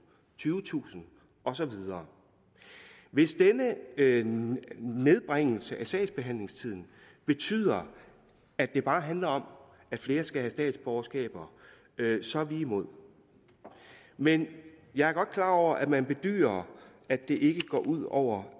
tyvetusind og så videre hvis denne nedbringelse af sagsbehandlingstiden betyder at det bare handler om at flere skal have statsborgerskab så er vi imod men jeg er godt klar over at man bedyrer at det ikke går ud over